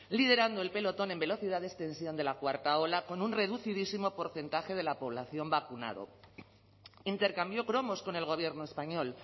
liderando el pelotón en velocidad de extensión de la cuarta ola con un reducidísimo porcentaje de la población vacunado intercambió cromos con el gobierno español